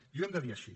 i ho hem de dir així